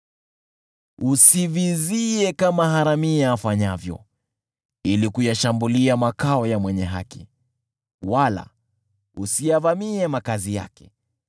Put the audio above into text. Usivizie kama haramia afanyavyo ili kuyashambulia makao ya mwenye haki, wala usiyavamie makazi yake,